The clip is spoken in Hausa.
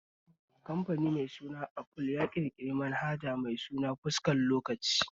Kamfani mai suna aful ya ƙirƙiri manhaja mai suna fuskar lokaci